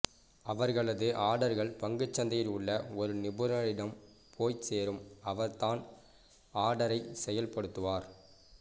அவர்களது ஆர்டர்கள் பங்குச் சந்தையில் உள்ள ஒரு நிபுணரிடம் போய்ச் சேரும் அவர் தான் ஆர்டரை செயல்படுத்துவார்